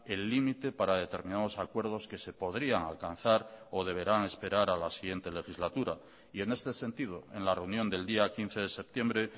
el límite para determinados acuerdos que se podrían alcanzar o deberán esperar a la siguiente legislatura y en este sentido en la reunión del día quince de septiembre